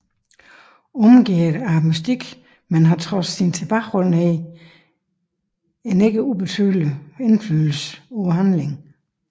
Omgærdet af mystik men har trods sin tilbageholdenhed en ikke ubetydelig indflydelse på handlingen